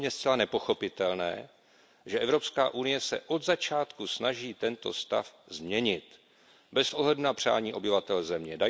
Je pro mne zcela nepochopitelné, že Evropská unie se od začátku snaží tento stav změnit bez ohledu na přání obyvatel země.